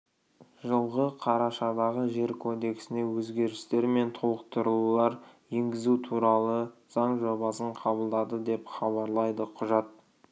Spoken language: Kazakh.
жылғы қарашадағы жер кодексіне өзгерістер мен толықтырулар енгізу туралы заң жобасын қабылдады деп хабарлайды құжат